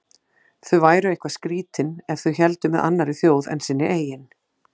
Þau væru eitthvað skrýtin ef þau héldu með annarri þjóð en sinni eigin.